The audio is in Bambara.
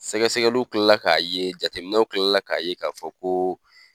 Sɛgɛsɛgɛliw kilala k'a ye, jateminɛw kilala k'a ye, k'a fɔ ko